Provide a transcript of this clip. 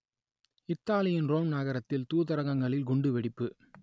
இத்தாலியின் ரோம் நகரத்தில் தூதரகங்களில் குண்டுவெடிப்பு